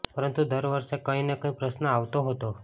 પરંતુ દર વર્ષે કંઈ ને કંઈ પ્રશ્ન આવતો હતો